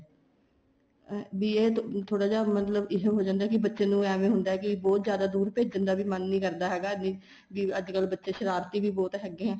ਵੀ ਇਹ ਥੋੜਾ ਜਾ ਮਤਲਬ ਇਸ ਹੋ ਜਾਂਦਾ ਕੀ ਬੱਚੇ ਨੂੰ ਐਵੇ ਹੁੰਦਾ ਹੈ ਕੀ ਬਹੁਤ ਜਿਆਦਾ ਦੂਰ ਭੇਜਣ ਦਾ ਵੀ ਮੰਨ ਨਹੀਂ ਕਰਦਾ ਹੈਗਾ ਵੀ ਅੱਜ ਕੱਲ ਬੱਚੇ ਸ਼ਰਾਰਤੀ ਵੀ ਬਹੁਤ ਹੈਗੇ ਏ